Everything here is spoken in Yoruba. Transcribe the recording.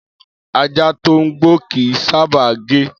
Ajá tó ń gbó kì í sábà gé.